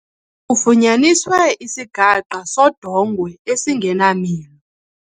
Kufunyaniswe isigaqa sodongwe esingenamilo.